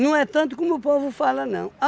é tanto como o povo fala não.